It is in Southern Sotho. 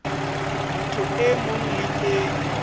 motho e mong le e